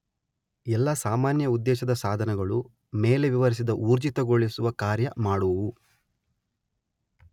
ಎಲ್ಲಾ ಸಾಮಾನ್ಯ ಉದ್ದೇಶದ ಸಾಧನಗಳು ಮೇಲೆ ವಿವರಿಸಿದ ಊರ್ಜಿತಗೊಳಿಸುವ ಕಾರ್ಯ ಮಾಡುವವು